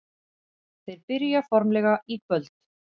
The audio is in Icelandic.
Þeir byrja formlega í kvöld.